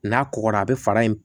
N'a kɔgɔra a bɛ fara in